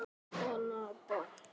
Ég á það. Þú?